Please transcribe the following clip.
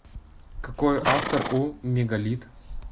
какой автор у мегалит